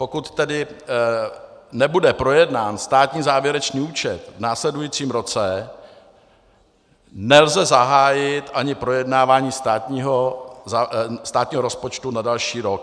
Pokud tedy nebude projednán státní závěrečný účet v následujícím roce, nelze zahájit ani projednávání státního rozpočtu na další rok.